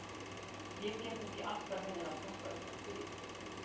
Ég get ekki alltaf verið að passa upp á þig.